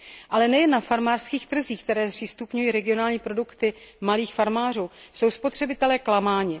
Ale nejen na farmářských trzích, které zpřístupňují regionální produkty malých farmářů, jsou spotřebitelé klamáni.